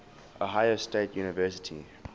ohio state university